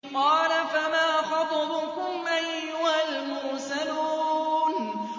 ۞ قَالَ فَمَا خَطْبُكُمْ أَيُّهَا الْمُرْسَلُونَ